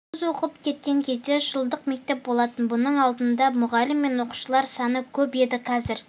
біз оқып кеткен кезде жылдық мектеп болатын бұның алдында мұғалім мен оқушылар саны көп еді қазір